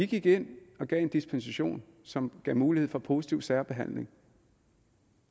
gik ind og gav en dispensation som gav mulighed for positiv særbehandling